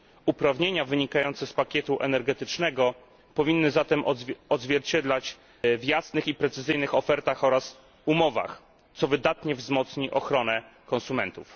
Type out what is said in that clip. Uprawnienia wynikające z pakietu energetycznego powinny zatem znaleźć odzwierciedlenie w jasnych i precyzyjnych ofertach i umowach, co wydatnie wzmocni ochronę konsumentów.